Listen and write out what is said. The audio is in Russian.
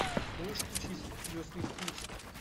можешь включить звездный путь